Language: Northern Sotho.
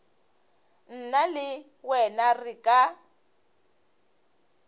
nna le wena re ka